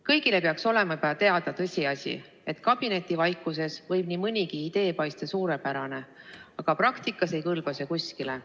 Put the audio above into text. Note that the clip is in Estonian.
Kõigile peaks olema teada ka tõsiasi, et kabinetivaikuses võib nii mõnigi idee paista suurepärane, aga praktikas ei kõlba kuskile.